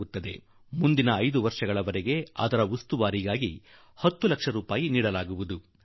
ಗುವುದು ಮತ್ತು 5 ವರ್ಷಗಳ ವರೆಗೆ ನಿರ್ವಹಣೆಗಾಗಿ ಕೂಡಾ 10 ಲಕ್ಷ ರೂಪಾಯಿಗಳನ್ನು ಕೊಡಲಾಗುವುದು